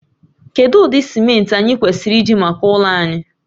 Kedu ụdị simenti anyị kwesịrị iji maka ụlọ anyị?